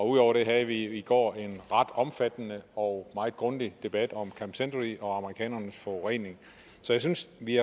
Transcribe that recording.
ud over det havde vi i går en ret omfattende og meget grundig debat om camp century og amerikanernes forurening så jeg synes vi